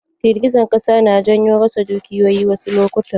Girgijen ƙasa na janyo rasa dukiyoyi wasu lokutan.